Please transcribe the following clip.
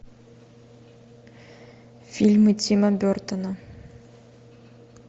фильмы тима бертона